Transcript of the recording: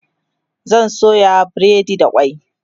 zan soya breadi da kwai